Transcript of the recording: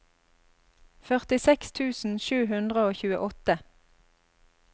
førtiseks tusen sju hundre og tjueåtte